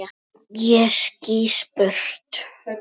Ég skýst burt.